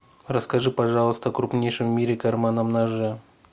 расскажи пожалуйста о крупнейшем в мире карманном ноже